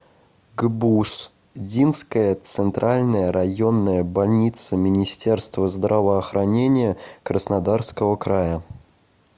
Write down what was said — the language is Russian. гбуз динская центральная районная больница министерства здравоохранения краснодарского края